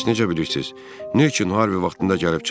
Bəs necə bilirsiz, niyə Harvi vaxtında gəlib çıxmayıb?